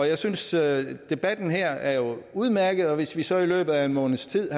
jeg synes at debatten her jo er udmærket og hvis vi så i løbet af en måneds tid